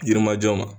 Yirimajɔ ma